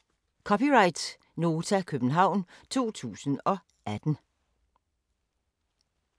(c) Nota, København 2018